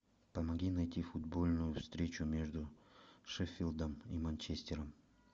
помоги найти футбольную встречу между шеффилдом и манчестером